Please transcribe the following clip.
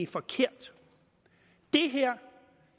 forkert det her